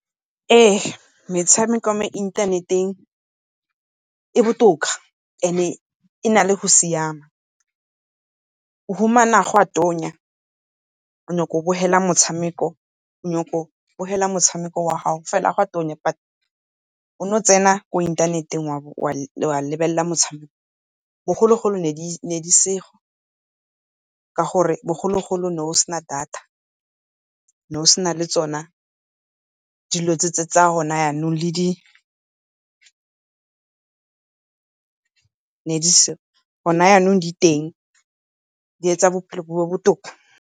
Ee, metshameko mo inthaneteng e botoka and-e e na le go siama, o humana go a tonya o nyaka o bogela motshameko wa gago fela gwa tonya, but o no tsena mo inthaneteng wa lebelela motshameko. Bogologolo ne di seo ka gore bogologolo ne go sena data, ne go sena le tsona dilo tse tsa gona yanong le di gona yanong di teng, di etsa bophelo bo be botoka.